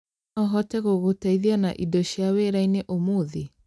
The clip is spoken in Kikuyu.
No hote gũgũteithia na indo cia wĩra-inĩ ũmũthĩ?